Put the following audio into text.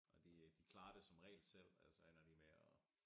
Og de øh de klarer det som regel selv og ellers så ender de med at